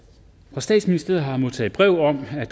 fra statsministeren har jeg modtaget breve om at